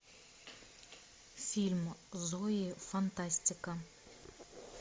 фильм зои фантастика